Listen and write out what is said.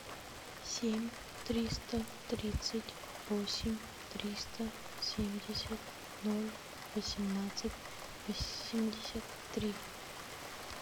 семь триста тридцать восемь триста семьдесят ноль восемнадцать восемьдесят три